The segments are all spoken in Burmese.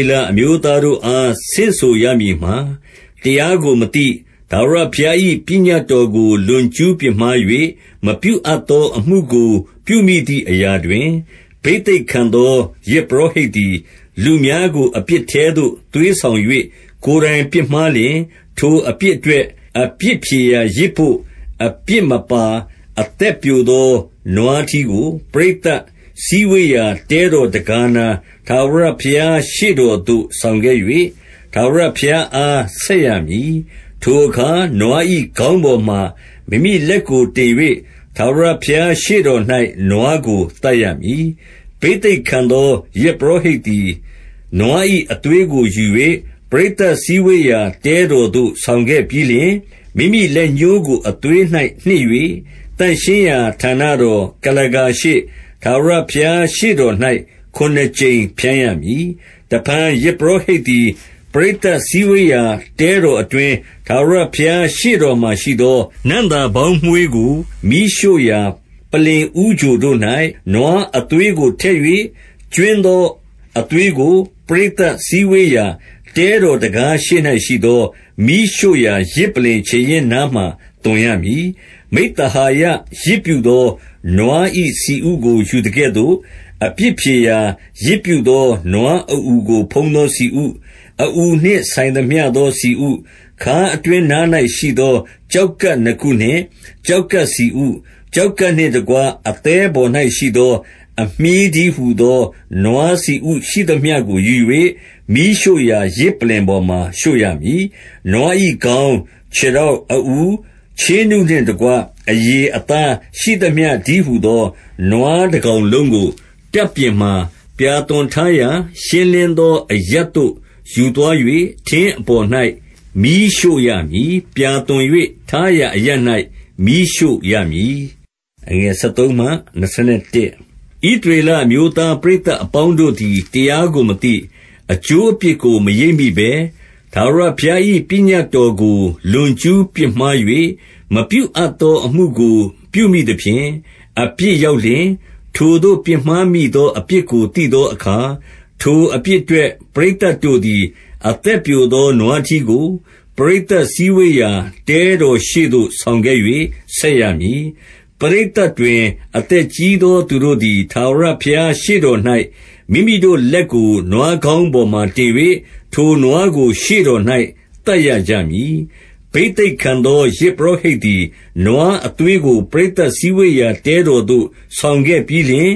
ေလအမျိုးသားတို့အား ဆင့်ဆိုရမည်မှာ၊ တရားကိုမသိ၊ ထာဝရဘုရား၏ ပညတ်တော်ကို လွန်ကျူးပြစ်မှား၍ မပြုအပ်သော အမှုကိုပြု မိသည် အရာတွင်၊- 3 ဘိသိက်ခံသော ယဇ်ပုရောဟိတ်သည် လူများကို အပြစ်ထဲသို့ သွေးဆောင်၍ ကိုယ်တိုင် ပြစ်မှားလျှင်၊ ထိုအပြစ်အတွက် အပြစ်ဖြေရာယဇ်ဘို့ အပြစ်မပါ၊ အသက်ပျိုသော နွားထီးကို၊ - 4 ပရိသတ်စည်းဝေးရာ တဲတော် တဲခါးနား၊ ထာဝရဘုရားရှေ့တော် သို့ ဆောင်ခဲ့၍၊ ထာဝရဘုရားအား ဆက်ရမည်။ 5 ဘိသိက်ခံသော ယဇ်ပုရောဟိတ်သည်၊ နွား၏ အသွေးကို ယူ၍၊ ပရိသတ်စည်းဝေးရာ တဲတော်သို့ ဆောင်ခဲ့ပြီးလျှင်၊- 6 မိမိလက်ညှိုးကို အသွေး၌နှစ်၍ သန့်ရှင်းရာဌာနတော် ကုလားကာရှေ့၊ ထာဝရဘုရား ရှေ့တော်၌ ခုနစ်ကြိမ်ဖြန်းရမည်။ 7 တဖန်ယဇ်ပုရောဟိတ်သည်၊ ပရိသတ်စည်းဝေးရာ တဲတော်အတွင်း၊ ထာဝရဘုရားရှေ့တော်မှာ ရှိသော နံ့သာပေါင်းမွှေးကို မီးရှို့ရာ ပလ္လင်ဦးချိုတို့၌ နွားအသွေးကို ထည့်၍၊ ကြွင်းသော အသွေးကို၊ ပရိသတ် စည်းဝေးရာ တဲတော်တံခါးရှေ့၌ရှိသော မီးရှို့ရာ ယဇ်ပလ္လင်ခြေရင်းနားမှာ သွန်ရမည်။ 8 မိဿဟာယယဇ် ပြုသော နွား၏ဆီဥကိုယူသကဲ့သို့၊ အပြစ်ဖြေရာ ယဇ်ပြုသော နွားအအူကို ဖုံးသော ဆီဥ၊ အအူနှင့်ဆိုင်သမျှသော ဆီဥ၊- 9 ခါးအတွင်းနား၌ရှိသော ကျောက်ကပ်နှစ်ခုနှင့် ကျောက်ကပ်ဆီဥ၊ ကျောက်ကပ်နှင့်တကွ အသည်း ပေါ်၌ရှိသော အမြှေးတည်းဟူသော၊ နွားဆီဥရှိသမျှကို ယူ၍၊ 10 မီးရှို့ရာယဇ်ပလ္လင်ပေါ်မှာ ရှို့ရမည်။ 11 နွား၏ ခေါင်း၊ ခြေထောက်၊ အအူ၊ ချေးနုနှင့်တကွ အရေ၊ အသားရှိသမျှ တည်းဟူသော၊- 12 နွာတကောင်လုံးကို၊ တပ်ပြင်မှာ ပြာသွန်ထားရာ ရှင်းလင်းသော အရပ်သို့ယူသွား၍ ထင်းအပေါ်၌ မီးရှို့ရမည်။ ပြာသွန်း၍ ထားရာအရပ်၌ မီးရှို့ရမည်။ 13 ဣသရေလအမျိုးသား ပရိအပေါင်းတို့သည် တရားကိုမသိ၊ အကျိုးအပြစ်ကို မရိပ်မိဘဲ၊ ထာဝရဘုရား၏ ပညတ်တော်ကို လွန်ကျူးပြစ်မှား၍ မပြုအပ်သောအမူကို ပြုမိသဖြင့် အပြစ်ရောက် လျှင်၊- 14 ထိုသို့ ပြစ်မှားမိသော အပြစ်ကိုသိသောအခါ၊ ထိုအပြစ်အတွက် ပရိသတ်တို့သည် အသက်ပျိုသော နွားထီးကို၊ ပရိသတ်စည်းဝေးရာ တဲတော်ရှေ့သို့ ဆောင်ခဲ့၍ ဆက်ရမည်။ 15 ပရိသတ်တွင် အသက်ကြီးသော သူတို့သည်၊ ထာဝရဘုရားရှေ့တော်၌ မိမိတို့လက်ကို နွားခေါင်းပေါ်မှာ တင်၍၊ ထိုနွားကို ရှေ့တော်၌ သတ်ရကြမည်။ 16 ဘိသိက်ခံသော ယဇ်ပုရောဟိတ်သည် နွားအသွေးကို ပရိသတ် စည်းဝေးရာ တဲတော်သို့ ဆောင်ခဲ့ ပြီးလျှင်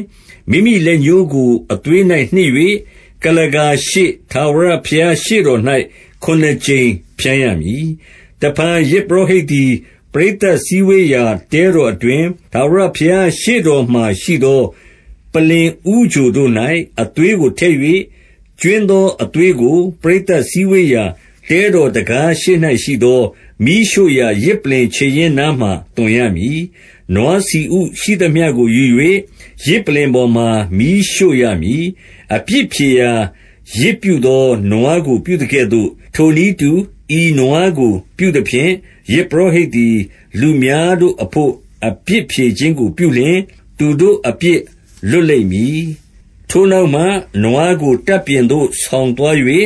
၊- 17 မိမိလက်ညှိုးကို အသွေး၌ နှစ်၍၊ ကုလားကာရှေ့ ထာဝရရှေ့တော်၌ ခုနစ်ကြိမ် ဖြန်းရမည်။ 18 တဖန် ယဇ်ပုရောဟိတ်သည်၊ ပရိတ်သတ်စည်းဝေးရာ တဲတော်အတွင်း၊ ထာဝရဘုရားရှေ့တော်မှာ ရှိသော ပလ္လင်ဦးချိုတို့၌ အသွေးကို ထည့်၍၊ ကြွင်းသောအသွေးကို၊ ပရိသတ်စည်းဝေးရာ တဲတော်တံခါးရှေ့၌ရှိသော မီးရှို့ရာယဇ်ပလ္လင်ခြေရင်းနားမှာ သွန်ရမည်။ 19 နွားဆီဥ ရှိသမျှကို ယူ၍ ယဇ်ပလ္လင်ပေါ်မှာ မီးရှို့ရမည်။ 20 အပြစ်ဖြေရာ ယဇ်ပြုသော နွားကို ပြုသကဲ့သို့၊ ထိုနည်းတူ ဤနွားကို ပြုသဖြင့်၊ ယဇ်ပုရောဟိတ် သည် လူများတို့အဘို့ အပြစ်ဖြေခြင်းကို ပြုလျှင်၊ သူတို့အပြစ် လွတ်လိမ့်မည်။ 21 ထိုနောက်မှ နွားကို တပ်ပြင်သို့ဆောင်သွား၍၊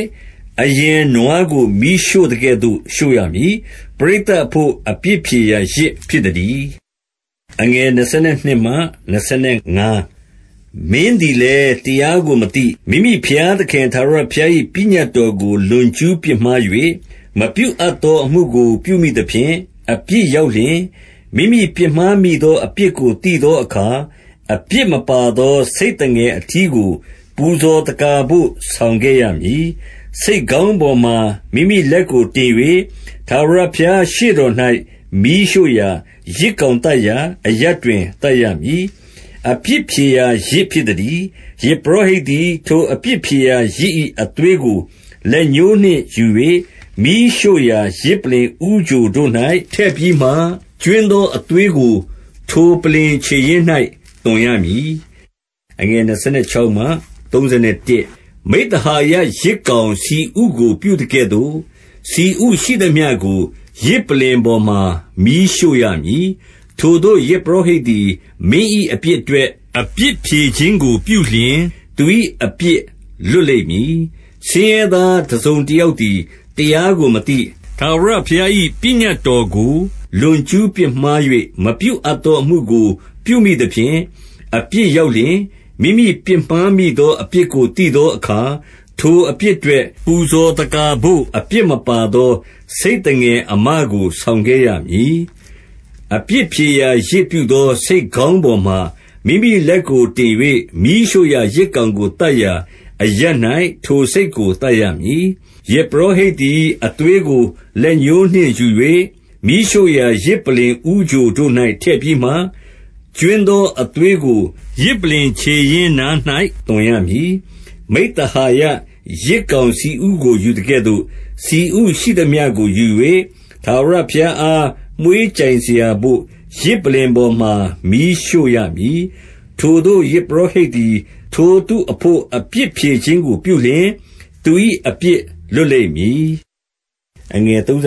အရင်နွားကို မီးရှို့သကဲ့သို့ ရှို့ရမည်။ ပရိသတ်အဘို့ အပြစ်ဖြေစရာ ယဇ်ဖြစ်သတည်း။ 22 မင်းသည်လည်း တရားကိုမသိ၊ မိမိဘုရားသခင် ထာဝရဘုရား၏ ပညတ်တော်ကို လွန်ကျူးပြစ်မှား ၍ မပြုအပ်သော အမှုကို ပြုမိသဖြင့် အပြစ်ရောက်လျှင်၊- 23 မိမိပြစ်မှားမိသော အပြစ်ကို သိသောအခါ၊ အပြစ်မပါသော ဆိတ်သငယ်အထီးကို ပူဇော်သက္ကာဘို့ ဆောင်ခဲ့ရမည်။ 24 ဆိတ်ခေါင်းပေါ်မှာ မိမိလက်ကိုတင်၍ ထာဝရဘုရားရှေ့တော်၌ မီးရှို့ရာယဇ်ကောင်သတ်ရာ အရပ်တွင် သတ်ရမည်။ အပြစ်ဖြေရာ ယဇ်ဖြစ်သတည်း။ 25 ယဇ်ပုရောဟိတ်သည် ထိုအပြစ်ဖြေရာယဇ်၏ အသွေးကို လက်ညှိုးနှင့်ယူ၍ မီးရှို့ရာ ယဇ်ပလ္လင်ဦး ချိုတို့၌ ထည့်ပြီးမှ၊ ကြွင်းသော အသွေးကို ထိုပလ္လင်ခြေရင်းနား၌ သွန်ရမည်။ 26 မိဿဟာယယဇ်ကောင်ဆီဥကို ပြုသကဲ့သို့ ဆီဥရှိသမျှကို ယဇ်ပလ္လင်ပေါ်မှာ မီးရှို့ရမည်။ ထိုသို့ ယဇ်ပုရောဟိတ်သည် မင်း၏ အပြစ်အတွက် အပြစ်ဖြေခြင်းကိုပြုလျှင်၊ သူ၏ အပြစ်လွတ်လိမ့်မည်။ 27 ဆင်းရဲသားတစုံတယောက်သည် တရားကို မသိ၊ ထာဝရဘုရား၏ ပညတ်တော်ကို လွန်ကျူးပြစ် မှား၍၊ မပြုအပ်သော အမှုကို ပြုမိသဖြင့် အပြစ်ရောက်လျှင်၊- 28 မိမိပြစ်မှားမိသော အပြစ်ကို သိသောအခါ၊ ထိုအပြစ်အတွက် ပူဇော်သက္ကာဘို့ အပြစ်မပါသော ဆိတ်သငယ်အမကို ဆောင်ခဲ့ရမည်။ 29 အပြစ်ဖြေရာ ယဇ်ပြုသော ဆိတ်ခေါင်းပေါ်မှာ မိမိလက်ကိုတင်၍ မီးရှို့ရာယဇ်ကောင်ကို သတ်ရာ အရပ်၌ ထိုဆိတ်ကို သတ်ရမည်။ 30 ယဇ်ပုရောဟိတ်သည် အသွေးကို လက်ညှိုးနှင့်ယူ၍ မီးရှို့ရာ ယဇ်ပလ္လင် ဦးချိုတို့၌ ထည့်ပြီးမှ၊ ကြွင်းသော အသွေးကို ယဇ်ပလ္လင်ခြေရင်းနား၌ သွန်ရမည်။ 31 မိဿဟာယယဇ်ကောင်ဆီဥကို ယူသကဲ့သို့၊ ဆီဥရှိသမျှကို ယူ၍ ထာဝရဘုရားအား မွှေးကြိုင်စရာ ဘို့ ယဇ်ပလ္လင်ပေါ်မှာ မီးရှို့ရမည်။ ထိုသို့ ယဇ်ပုရောဟိတ်သည် ထိုသူအဘို့ အပြစ်ဖြေခြင်းကို ပြုလျှင်၊ သူ၏ အပြစ်လွတ်လိမ့်မည်။ 32 သိုး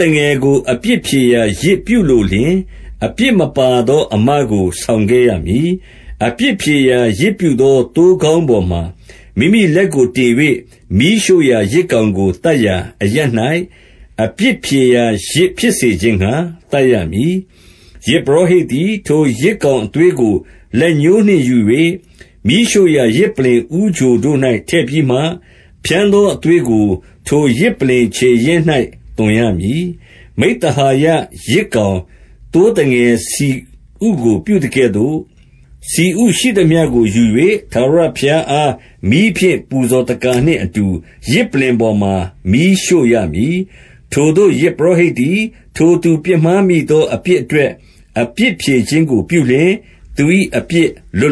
သငယ်ကို အပြစ်ဖြေရာယဇ် ပြုလိုလျှင်၊ အပြစ်မပါသော အမကို ဆောင်ခဲ့ရမည်။ 33 အပြစ်ဖြေရာ ယဇ်ပြုသော သိုးခေါင်းပေါ်မှာ မိမိလက်ကို တင်၍ မီးရှို့ရာယဇ်ကောင်ကို သတ်ရာ အရပ်၌ အပြစ် ဖြေရာယဇ်ဖြစ်စေခြင်းငှါ သတ်ရမည်။ 34 ယဇ်ပုရောဟိတ်သည်၊ ထိုယဇ်ကောင် အသွေးကို လက်ညှိုးနှင့် ယူ၍ မီးရှို့ရာ ယဇ်ပလ္လင်ဦးချိုတို့၌ ထည့်ပြီးမှ ဖြန်းသော အသွေးကို ထိုပလ္လင် ခြေရင်းနား၌ သွန်ရမည်။ 35 မိဿဟာယယဇ်ကောင် သိုးသငယ်ဆီဥကို ပြုသကဲ့သို့၊ ဆီဥရှိသမျှကို ယူ၍၊ ထာဝရဘုရားအား မီးဖြင့် ပူဇော်သက္ကာနှင့်အတူ ယဇ်ပလ္လင်ပေါ်မှာ မီးရှို့ရမည်။ ထိုသို့ ယဇ်ပုရောဟိတ်သည် ထိုသူ ပြစ်မှားမိသော အပြစ်အတွက် အပြစ်ဖြေခြင်းကို ပြလျှင်၊ သူ၏ အပြစ်လွတ်လ